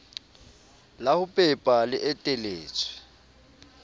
la ho pepa le eteletswe